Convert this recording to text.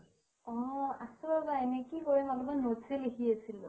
অ আছো ৰবা এনে কি কৰিম অকমান notes আ লিখি আছিলো।